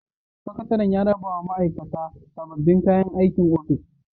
Sakatare ya raba wa ma'aikata sabbin kayan aikin ofis.